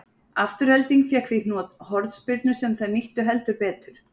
Afturelding fékk því hornspyrnu sem þær nýttu heldur betur.